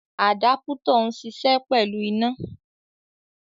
Àdápútọ̀ ń ṣiṣẹ́ pẹ̀lú iná.